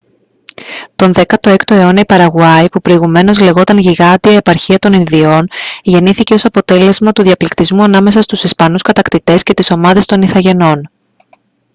τον 16ο αιώνα η παραγουάη που προηγουμένως λεγόταν « γιγάντια επαρχία των ινδιών» γεννήθηκε ως αποτέλεσμα του διαπληκτισμού ανάμεσα στους ισπανούς κατακτητές και τις ομάδες των ιθαγενών